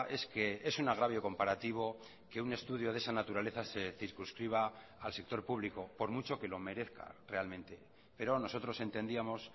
es que es un agravio comparativo que un estudio de esa naturaleza se circunscriba al sector público por mucho que lo merezca realmente pero nosotros entendíamos